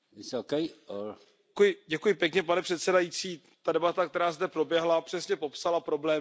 Pane předsedající, ta debata, která zde proběhla, přesně popsala problémy, ve kterých se Kamerun nachází.